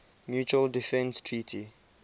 mutual defense treaty